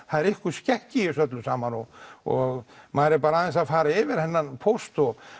það er einhver skekkja í þessu öllu saman og og maður er bara aðeins að fara yfir þennan póst og